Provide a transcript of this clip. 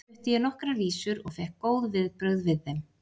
Þar flutti ég nokkrar vísur og fékk góð viðbrögð við þeim.